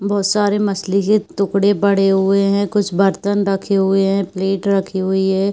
बहुत सारे मछली के टुकड़े पड़े हुए हैं। कुछ बर्तन रखे हुए हैं। प्लेट रखी हुई हैं।